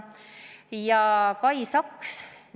Sellest rääkis ka Kai Saks.